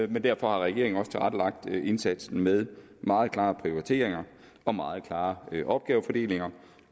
derfor har regeringen også tilrettelagt indsatsen med meget klare prioriteringer og meget klare opgavefordelinger